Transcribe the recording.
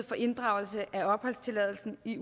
for inddragelse af opholdstilladelsen i